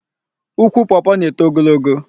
Ukwu Pọọpọọ na-eto ogologo.